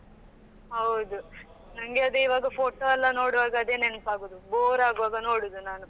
ಹೌದು ನಂಗೆ ಅದೇ ಈವಾಗphoto ಎಲ್ಲಾ ನೋಡುವಾಗ ಅದೇ ನೆನಪಾಗುವುದು bore ಆಗುವಾಗ ನೋಡುವುದು ನಾನು.